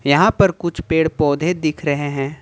यहां पर कुछ पेड़ पौधे दिख रहे हैं।